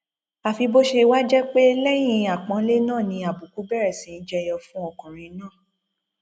àfi bó ṣe wáá jẹ pé lẹyìn àpọnlé náà ni àbùkù bẹrẹ sí í jẹ yọ fún ọkùnrin náà